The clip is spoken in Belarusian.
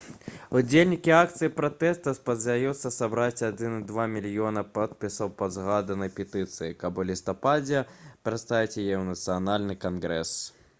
удзельнікі акцыі пратэсту спадзяюцца сабраць 1,2 мільёна подпісаў пад згаданай петыцыяй каб у лістападзе прадставіць яе ў нацыянальны кангрэс